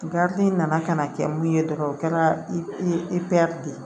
nana ka na kɛ mun ye dɔrɔn o kɛra de ye